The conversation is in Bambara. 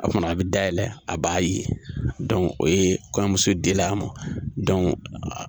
O kuma na a' bɛ dayɛlɛ a b'a ye o ye kɔɲɔmuso dila a ma